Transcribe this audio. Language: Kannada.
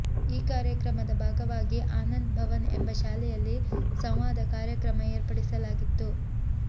ಈ ಕಾರ್ಯಕ್ರಮದ ಭಾಗವಾಗಿ ಆನಂದ್ ಭವನ್ ಎಂಬ ಶಾಲೆಯಲ್ಲಿ ಸಂವಾದ ಕಾರ್ಯಕ್ರಮ ಏರ್ಪಡಿಸಲಾಗಿತ್ತು